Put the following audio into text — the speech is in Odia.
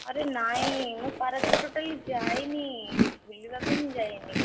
ଆରେ ନାଇଁ ମୁଁ ପାରାଦ୍ୱୀପ totally ଯାଇନି, ବୁଲିବାକୁ ହିଁ ଯାଇନି।